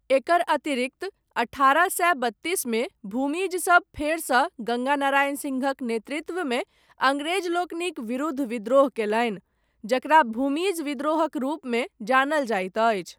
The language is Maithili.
एकर अतिरिक्त, अठारह सए बत्तीसमे, भूमिज सब, फेरसँ गङ्गा नारायण सिंहक नेतृत्वमे, अङ्ग्रेजलोकनिक विरूद्ध विद्रोह कयलनि, जकरा भूमिज विद्रोहक रूपमे, जानल जाइत अछि।